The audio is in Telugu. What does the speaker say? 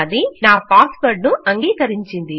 అది నా పాస్ వర్డ్ ను అంగీకరించింది